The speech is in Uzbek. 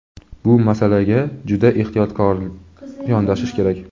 Bu masalaga juda ehtiyotkor yondashish kerak.